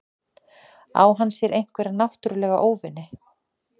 Á hann sér einhverja náttúrulega óvini?